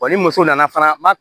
Wa ni muso nana fana ma